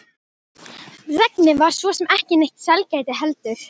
Regnið var svo sem ekki neitt sælgæti heldur.